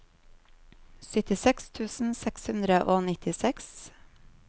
syttiseks tusen seks hundre og nittiseks